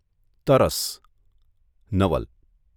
તરસ નવલ